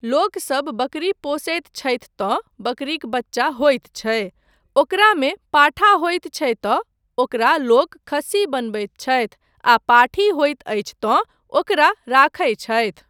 लोकसब बकरी पोसैत छथि तँ बकरीक बच्चा होइत छै, ओकरामे पाठा होइत छै तँ ओकरा लोक खस्सी बनबैत छथि आ पाठी होइत अछि तँ ओकरा राखय छथि।